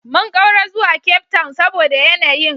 Mun ƙaura zuwa Cape Town saboda yanayin